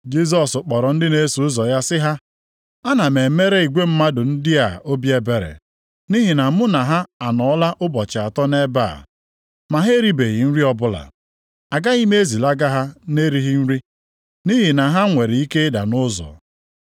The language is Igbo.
Jisọs kpọrọ ndị na-eso ụzọ ya sị ha, “Ana m emere igwe mmadụ ndị a obi ebere, nʼihi na mụ na ha anọọla ụbọchị atọ nʼebe a, ma ha eribeghị nri ọbụla. Agaghị m ezilaga ha na-erighị nri, nʼihi na ha nwere ike ịda nʼụzọ.”